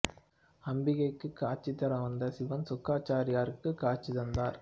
அம்பிகைக்குக் காட்சி தர வந்த சிவன் சுக்கிராச்சாரியாருக்கு காட்சி தந்தார்